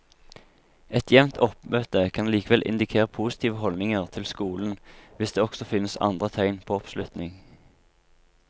Et jevnt oppmøte kan likevel indikere positive holdninger til skolen hvis det også finnes andre tegn på oppslutning.